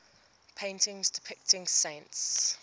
paintings depicting saints